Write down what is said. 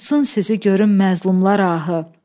Tutusun sizi görüm məzlumlar ahı.